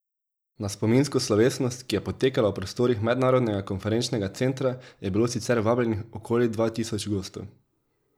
Na spominsko slovesnost, ki je potekala v prostorih Mednarodnega konferenčnega centra, je bilo sicer vabljenih okoli dva tisoč gostov.